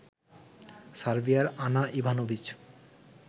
সার্বিয়ার Ana Ivanovic